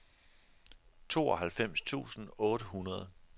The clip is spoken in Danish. tooghalvfems tusind otte hundrede